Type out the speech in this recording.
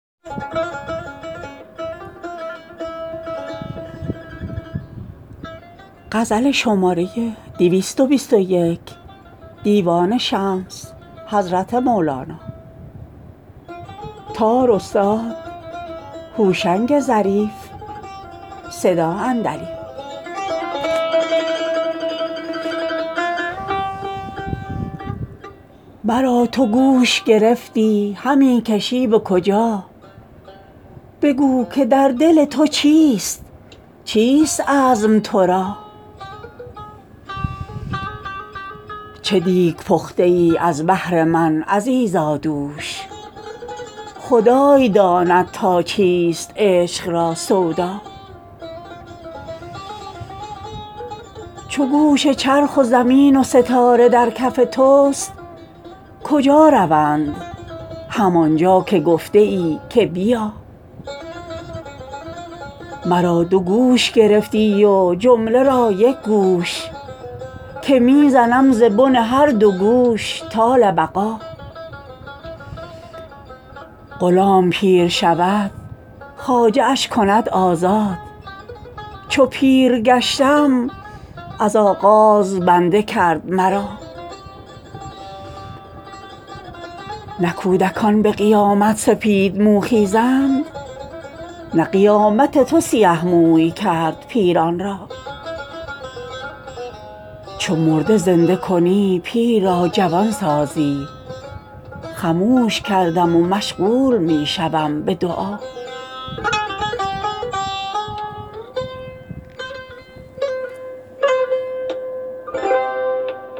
مرا تو گوش گرفتی همی کشی به کجا بگو که در دل تو چیست چیست عزم تو را چه دیگ پخته ای از بهر من عزیزا دوش خدای داند تا چیست عشق را سودا چو گوش چرخ و زمین و ستاره در کف توست کجا روند همان جا که گفته ای که بیا مرا دو گوش گرفتی و جمله را یک گوش که می زنم ز بن هر دو گوش طال بقا غلام پیر شود خواجه اش کند آزاد چو پیر گشتم از آغاز بنده کرد مرا نه کودکان به قیامت سپیدمو خیزند قیامت تو سیه موی کرد پیران را چو مرده زنده کنی پیر را جوان سازی خموش کردم و مشغول می شوم به دعا